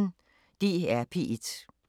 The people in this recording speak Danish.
DR P1